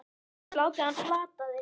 Þú hefur látið hann plata þig!